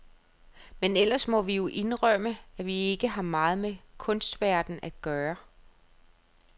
Men ellers må vi jo indrømme, at vi ikke har meget med kunstverdenen at gøre.